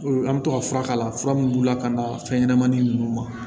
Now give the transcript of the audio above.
An bɛ to ka fura kala fura minnu b'u la ka na fɛnɲɛnɛmanin ninnu ma